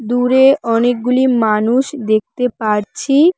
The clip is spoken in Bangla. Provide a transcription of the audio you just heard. দূরে অনেকগুলি মানুষ দেখতে পারছি।